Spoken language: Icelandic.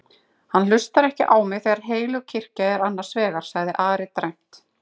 Hann hlustar ekki á mig þegar heilög kirkja er annars vegar, sagði Ari dræmt.